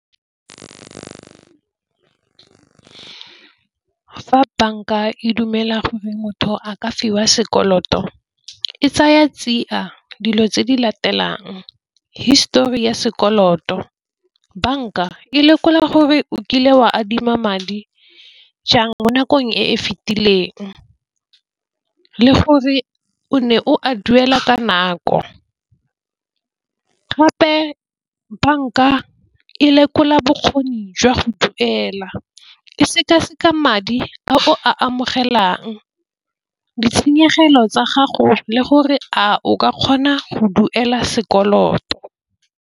Fa banka e dumela gore motho a ka fiwa sekoloto e tsaya tsia dilo tse di latelang histori ya sekoloto banka e lekola gore o kile wa adima madi jang mo nakong e e fitileng, le gore o ne o a duela ka nako. Gape banka e lekola bokgoni jwa go duela e sekaseka madi a o a amogelang ditshenyegelo tsa gago le gore a o ka kgona go duela sekoloto.